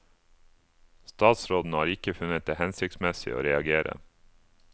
Statsråden har ikke funnet det hensiktsmessig å reagere.